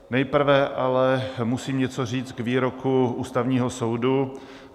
Nejprve ale musím něco říct k výroku Ústavního soudu.